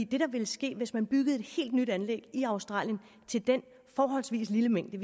der ville ske hvis man byggede et helt nyt anlæg i australien til den forholdsvis lille mængde